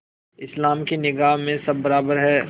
इस्लाम की निगाह में सब बराबर हैं